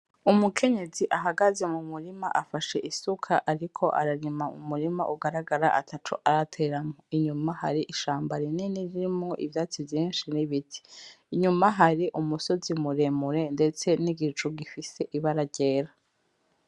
Umukenyezi ahagaze mu murima afashe isuka ariko ararima mu murima ugaragara ataco arateramwo inyuma hari ishamba rinini ririmwo ivyatsi vyinshi n'ibiti, inyuma hari umusozi muremure ndetse n'igicu gifise ibara ryera.